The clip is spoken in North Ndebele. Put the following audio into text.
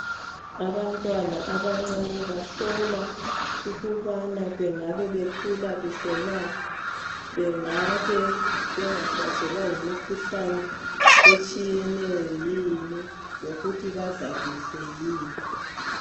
Abantwana abancane bahlolwa ukubana bengabe bekhula kuhle na bengabe bengahlaselwa yimikhuhlane etshiyeneyo yini lokuthi badla kuhle yini.